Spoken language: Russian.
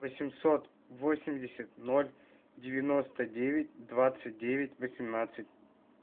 восемьсот восемьдесят ноль девяносто девять двадцать девять восемнадцать